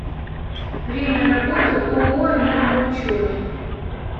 время работы ооо энергоучет